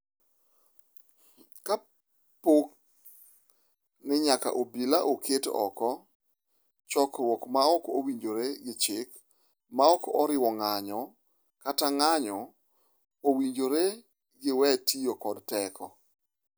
Kapo ni nyaka obila oket oko chokruok ma ok owinjore gi chik ma ok oriwo ng’anjo kata ng’anjo, owinjore giwe tiyo kod teko.